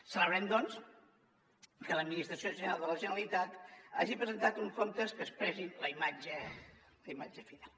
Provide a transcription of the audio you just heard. celebrem doncs que l’administració general de la generalitat hagi presentat uns comptes que expressin la imatge fidel